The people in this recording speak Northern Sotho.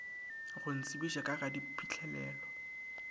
go ntsebiša ka ga diphihlelelo